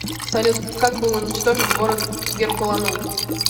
салют как был уничтожен город геркуланум